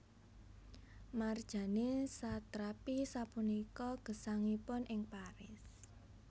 Marjane Satrapi sapunika gesangipun ing Paris